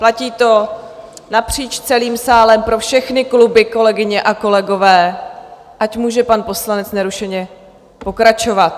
Platí to napříč celým sálem pro všechny kluby, kolegyně a kolegové, ať může pan poslanec nerušeně pokračovat.